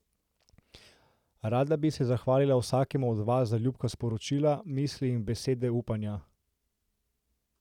Rada bi se zahvalila vsakemu od vas za ljubka sporočila, misli in besede upanja.